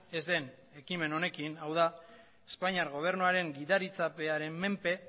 ez den ekimen honekin hau da espainiar gobernuaren gidaritzapearen menpe